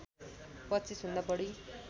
२५ भन्दा बढी